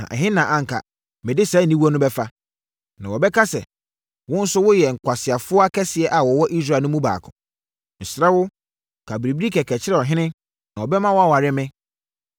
Na ɛhe na anka mede saa aniwuo no bɛfa? Na wɔbɛka sɛ, wo nso woyɛ nkwaseafoɔ akɛseɛ a wɔwɔ Israel no mu baako. Mesrɛ wo, ka biribi kɛkɛ kyerɛ ɔhene, na ɔbɛma woaware me.”